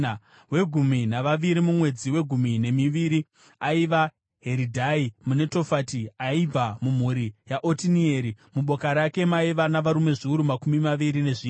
Wegumi navaviri, mumwedzi wegumi nemiviri, aiva Heridhai muNetofati, aibva mumhuri yaOtinieri. Muboka rake maiva navarume zviuru makumi maviri nezvina.